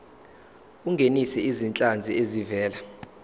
ungenise izinhlanzi ezivela